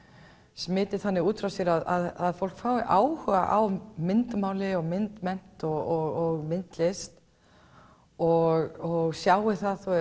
smiti þannig út frá sér að fólk fái áhuga á myndmáli myndmennt og myndlist og sjái að